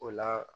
O la